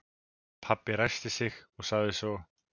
Pabbi ræskti sig en sagði svo